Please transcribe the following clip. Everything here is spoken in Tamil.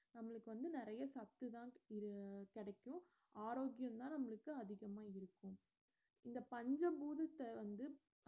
நம்மளுக்கு வந்து நெறைய சத்து தான் இரு~ கிடைக்கும் ஆரோக்கியம் தான் இதுக்கு அதிகமா இருக்கும் இந்த பஞ்ச பூதத்த வந்து